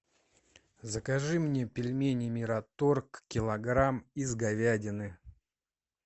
закажи мне пельмени мираторг килограмм из говядины